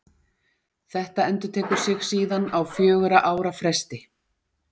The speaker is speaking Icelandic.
Þetta endurtekur sig síðan á fjögurra ára fresti.